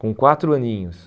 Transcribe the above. Com quatro aninhos.